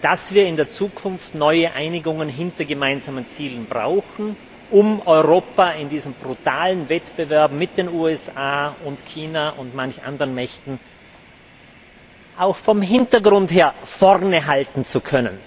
dass wir in der Zukunft neue Einigungen hinter gemeinsamen Zielen brauchen, um Europa in diesem brutalen Wettbewerb mit den USA, China und manch anderen Mächten auch vom Hintergrund her vorne halten zu können.